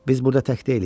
Biz burada tək deyilik.